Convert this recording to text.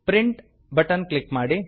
print button click ಮಾಡಿ